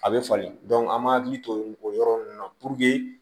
A bɛ falen an m'an hakili to o yɔrɔ nunnu na